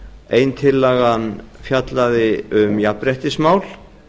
ein tillagan fjallaði um jafnréttismál